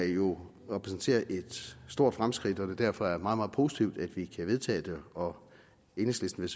jo repræsenterer et stort fremskridt og det derfor er meget meget positivt at vi kan vedtage det og enhedslisten